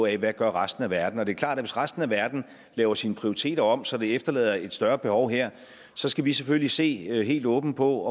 af hvad resten af verden gør det er klart at hvis resten af verden laver sine prioriteter om så det efterlader et større behov her så skal vi selvfølgelig se helt åbent på